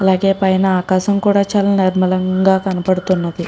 అలాగే పైన ఆకాశం కూడా చాలా నిర్మలంగా కనపడుతుంది.